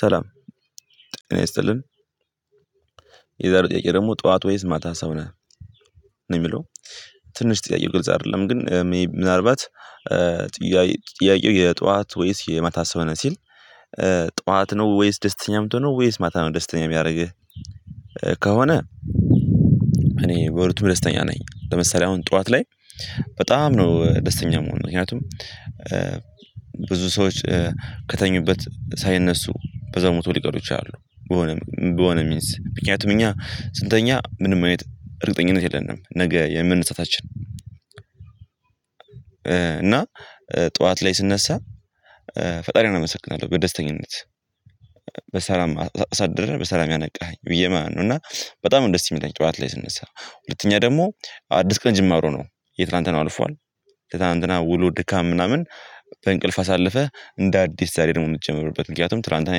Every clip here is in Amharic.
ሰላም ጤና ይስጥልን። የዛሬው ጥያቄ ደግሞ ጠዋት ወይስ ማታ ሰው ነህ ነው የሚለው? ትንሽ ጥያቄ ቅልጽ አይደለም ግን ምናልባት ጥያቄው የጧት ወይስ የማታ ሰው ነህ ሲል? ጧት ነው ወይስ ደስተኛ ምትሆነው ወይስ ማታ ነው ደስተኛ የሚያደርግህ? ከሆነ እኔ በሁለቱም ደስተኛ ነኝ። ለምሳሌ አሁን ጠዋት ላይ በጣም ነው ደስተኛ የምሆነው። ምክንያቱም ብዙ ሰዎች ከተኙበት ሳይነሱ በዛው ሙተው ሊቀሩ ይችላሉ በሆነ በሆነ ሚንስ ምክንያቱም እኛ ስንተኛ ምንም አይነት እርግጠኝነት የለንም። ነገ የመነሳታችን እና ጠዋት ላይ ስነሳ ፈጣሪን አመሰግናለሁ በደስተኝነት በሰላም አሳደረህ በሰላም ያነቃኸኝ ብየ ማለት ነው። እና በጣም ነው ደስ የሚለኝ ጠዋታ ላይ ስነሳ ሁለተኛ ደግሞ አዲስ ቀን ጅማሮ ነው የትላንትናው አልፏል። ከትላንትና ውሎ ድካም ምናምን በእንቅልፍ አሳለፈ እንደ አዲስ ዛሬ ደግሞ የምንጀምርበት ምክንያቱም ትላንትና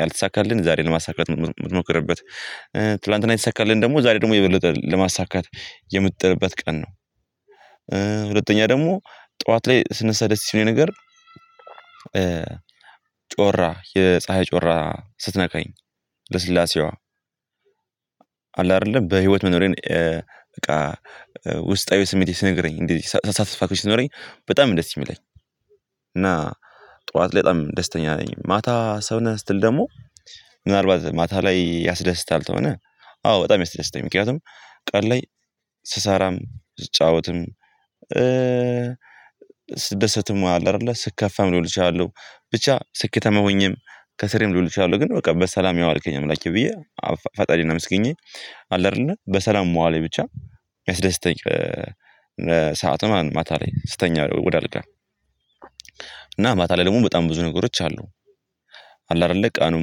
ያልተሳካልን ዛሬ ለማሳካት የምትሞክርበት ትላንትና የተሳካልን ደግሞ ዛሬ ደግሞ የበለጠ ለማሳካት የምትጥርበት ቀን ነው። ሁለተኛ ደግሞ ጠዋት ላይ ስነሳ ደስ የሚለኝ ነገር ጮራ የፀሀይ ጮራ ስትነካኝ ልስላሴዋ አለ አይደለ በህይወት መኖሬን በቃ ውስጣዊ ስሜቴ ስነግረኝ እንደዚህ ሳትስፋክሽን ሲኖረኝ በጣም ነው ደስ የሚለኝ። እና ጠዋት ላይ በጣም ደስተኛ ነኝ። ማታ ሰው ነህ ስትል? ደግሞ ምናልባት ማታ ላይ ያስደስታል ተሆነ አዎ በጣም ያስደስታል። ምክንያቱም ቀል ላይ ስሰራም ስጫወትም ስትደሰትም አለ አይደለ ስትከፋም ሊሆን ይችላል ብቻ ስኬታማ ሆኜም ከስሬም ልውል እችላለሁ። ግን በቃ በሰላም ያዋልከኝ አምላኬ ብዬ ፈጣሪን አምስግኜ አለ አይደለ በሰላም መዋሌ ብቻ ያስደስተኝ። ሰዓትም ማታ ላይ ስተኛ ወደ አልጋ እና ማታ ላይ ደግሞ በጣም ብዙ ነገሮች አሉ። አለ አይደለ ቀኑን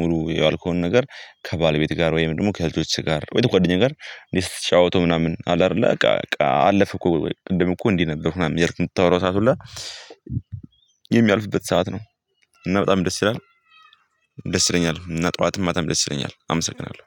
ሙሉ የዋልከውን ነገር ከባለቤት ጋር ወይም ደግሞ ከልጆች ጋር ወይም ከጓደኛ ጋር ስትጫወተው ምናምን አለ አይደለ በቃ አለፈ እኮ ቅድም እኮ እንዲህ ነበርሁ ምናምን እያልክ ምታወራው ሰዓት ሁሉ የሚያልፍበት ሰዓት ነው። እና በጣም ደስ ይላል ደስ ይለኛል እና ጠዋትም ማታም ደስ ይለኛል። አመሰግናለሁ